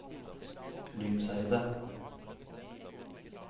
Lyngseidet